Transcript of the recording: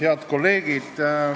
Head kolleegid!